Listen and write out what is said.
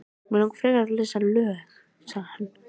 Mig langar frekar að lesa lög, sagði hann.